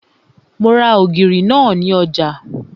Mo ra ògìrì náà ní ọjà